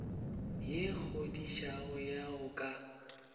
ye kgodišago ya go ka